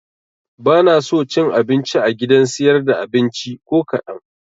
Banaso cin abinci a gidan siyar da abinci ko kaɗan